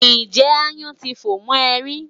Ǹjẹ́ aáyán ti fò mọ́ ẹ rí?